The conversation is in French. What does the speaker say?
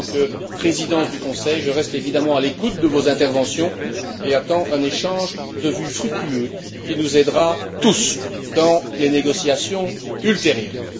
En tant que président du Conseil, je reste évidemment à l'écoute de vos interventions et j'attends un échange de vues fructueux qui nous aidera tous dans les négociations ultérieures.